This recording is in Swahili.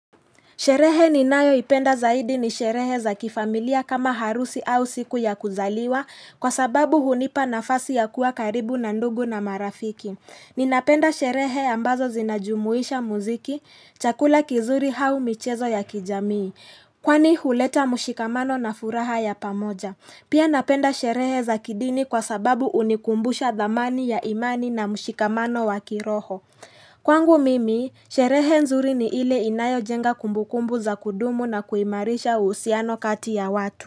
Sherehe ninayo ipenda zaidi ni sherehe za kifamilia kama harusi au siku ya kuzaliwa kwa sababu hunipa nafasi ya kuwa karibu na ndugu na marafiki. Ninapenda sherehe ambazo zinajumuisha muziki, chakula kizuri au michezo ya kijamii. Kwani huleta mshikamano na furaha ya pamoja. Pia napenda sherehe za kidini kwa sababu hunikumbusha dhamani ya imani na mshikamano wakiroho. Kwangu mimi, sherehe nzuri ni ile inayo jenga kumbukumbu za kudumu na kuimarisha uhusiano kati ya watu.